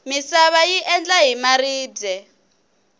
misava yi endla hi maribye